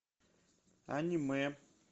аниме